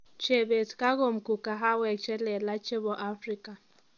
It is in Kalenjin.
Chebet kakomgu kahawek chelelach chebo Afrika